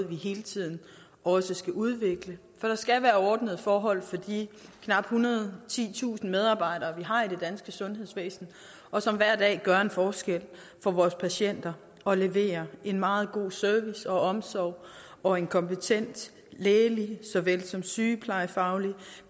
vi hele tiden også skal udvikle for der skal være ordnede forhold for de knap ethundrede og titusind medarbejdere vi har i det danske sundhedsvæsen og som hver dag gør en forskel for vores patienter og leverer en meget god service og omsorg og en kompetent lægelig såvel som sygeplejefaglig